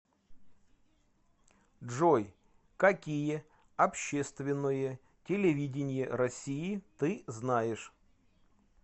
джой какие общественное телевидение россии ты знаешь